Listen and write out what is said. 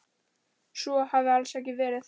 Svo hafi alls ekki verið.